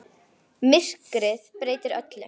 Myrkrið breytir öllu.